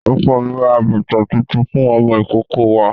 Ọkọ mi rà bàtà tuntun fún ọmọ ìkókó wa.